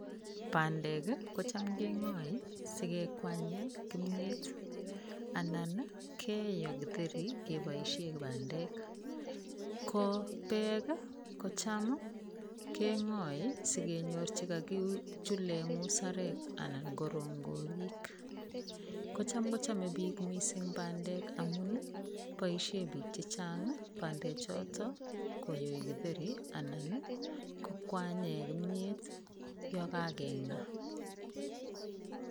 Bandek ii kocham keng'oe ii si ke kwanye kimiet, anan keyo Kitheri keboisie bandek, ko beek ii kocham keng'oe ii sikenyor che kakichule muserek anan ko rongorik, kocham kochame piik mising bandek amun ii, boisie piik che chang bandechoto koyoi Kitheri anan ii, kokwanye kimiet yo kakeng'a.